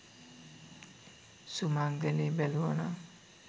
සුමංගලේ බැලුවනං.